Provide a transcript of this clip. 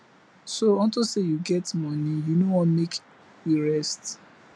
so unto say you get money you no wan make we rest